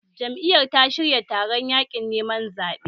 Jam'iyyar ta shirya taron yaƙin neman zaɓe